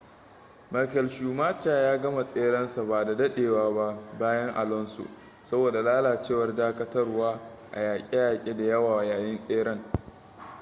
michael schumacher ya gama tserensa ba da daɗewa ba bayan alonso saboda lalacewar dakatarwa a yaƙe-yaƙe da yawa yayin tseren